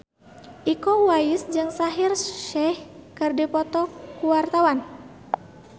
Iko Uwais jeung Shaheer Sheikh keur dipoto ku wartawan